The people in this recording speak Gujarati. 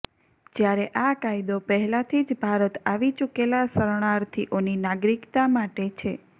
જ્યારે આ કાયદો પહેલાથી જ ભારત આવી ચૂકેલા શરણાર્થિઓની નાગરિકતા માટે છે